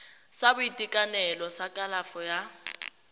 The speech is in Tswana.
sa boitekanelo sa kalafo ya